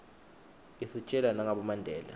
isitjela nagabo mandela